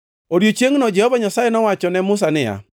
Odiechiengno Jehova Nyasaye nowachone Musa niya,